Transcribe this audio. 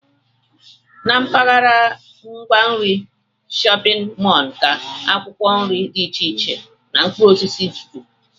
Na mpaghara ngwa nri shọpịn mọl ka akwụkwọ nri dị iche iche na mkpụrụosisi juru